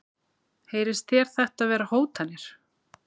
Heyrist þér þetta vera hótanir?